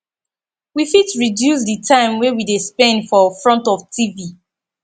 we fit reduce di time wey we de spend for front of tv